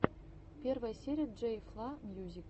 первая серия джей фла мьюзик